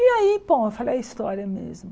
E aí, bom, eu falei, é história mesmo.